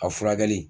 A furakɛli